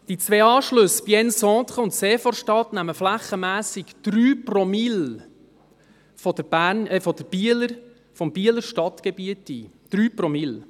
Die zwei Anschlüsse Bienne-Centre und Seevorstadt nehmen flächenmässig 3 Promille des Bieler Stadtgebiets ein, 3 Promille.